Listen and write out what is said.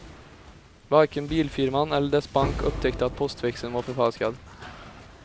Varken bilfirman eller dess bank upptäckte att postväxeln var förfalskad.